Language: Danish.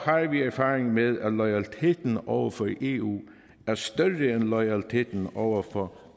vi erfaring med at loyaliteten over for eu er større end loyaliteten over for